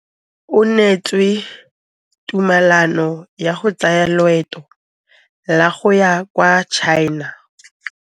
O neetswe tumalanô ya go tsaya loetô la go ya kwa China.